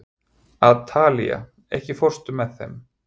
Atalía, ekki fórstu með þeim?